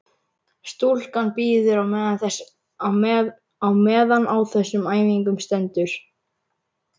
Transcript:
Stúlkan bíður á meðan á þessum æfingum stendur.